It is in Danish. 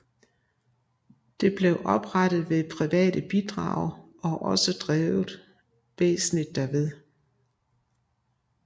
Det blev oprettet ved private bidrag og også drevet væsentligst derved